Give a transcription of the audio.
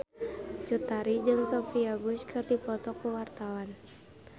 Cut Tari jeung Sophia Bush keur dipoto ku wartawan